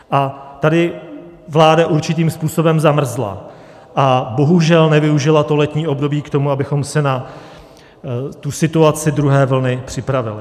A tady vláda určitým způsobem zamrzla a bohužel nevyužila to letní období k tomu, abychom se na tu situaci druhé vlny připravili.